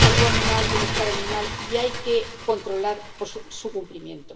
salud animal y bienestar animal, y hay que controlar su cumplimiento.